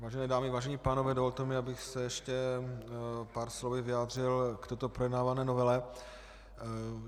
Vážené dámy, vážení pánové, dovolte mi, abych se ještě pár slovy vyjádřil k této projednávané novele.